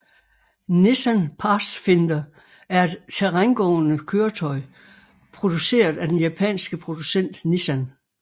Nissan Pathfinder er et terrængående køretøj produceret af den japanske producent Nissan